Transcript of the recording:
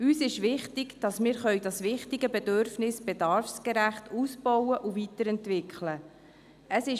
Uns ist wichtig, dass wir dieses wichtige Bedürfnis bedarfsgerecht ausbauen und weiterentwickeln können.